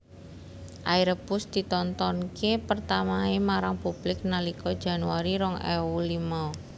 Airbus ditontonké pertamaé marang publik nalika Januari rong ewu limo